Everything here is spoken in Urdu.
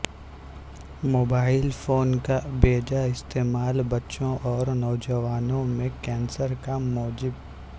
موبائل فون کا بے جا استعمال بچوں اور نوجوانوں میں کینسر کا موجب